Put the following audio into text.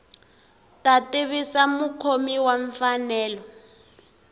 ta tivisa mukhomi wa mfanelo